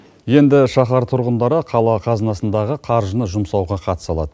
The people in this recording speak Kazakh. енді шахар тұрғындары қала қазынасындағы қаржыны жұмсауға қатыса алады